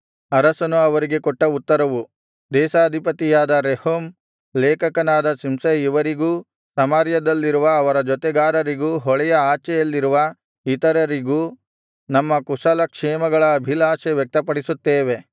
ಅರಸನು ಅವರಿಗೆ ಕೊಟ್ಟ ಉತ್ತರವು ದೇಶಾಧಿಪತಿಯಾದ ರೆಹೂಮ್ ಲೇಖಕನಾದ ಶಿಂಷೈ ಇವರಿಗೂ ಸಮಾರ್ಯದಲ್ಲಿರುವ ಅವರ ಜೊತೆಗಾರರಿಗೂ ಹೊಳೆಯ ಆಚೆಯಲ್ಲಿರುವ ಇತರರಿಗೂ ನಮ್ಮ ಕುಶಲಕ್ಷೇಮಗಳ ಅಭಿಲಾಷೆ ವ್ಯಕ್ತಪಡಿಸುತ್ತೇವೆ